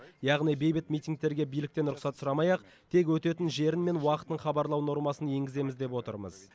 яғни бейбіт митингтерге биліктен рұқсат сұрамай ақ тек өтетін жері мен уақытын хабарлау нормасын енгіземіз деп отырмыз